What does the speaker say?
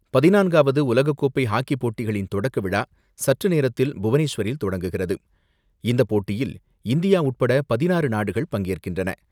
பதினான்காவது உலகக்கோப்பை ஹாக்கிப் போட்டிகளின் தொடக்கவிழா சற்றுநேரத்தில் புவனேஸ்வரில் தொடங்குகிரது. இந்த போட்டியில் இந்தியா உட்பட பதினாறு நாடுகள் பங்கேற்கின்றன.